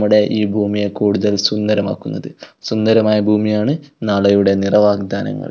ഇവിടെ ഈ ഭൂമിയെ കൂടുതൽ സുന്ദരമാക്കുന്നത് സുന്ദരമായ ഭൂമിയാണ് നാളെയുടെ നിറ വാഗ്ദാനങ്ങൾ.